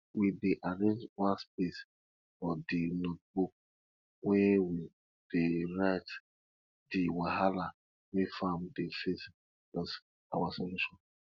we dey arrange one space for di notebook wey we dey write di wahala wey farm dey face plus our solution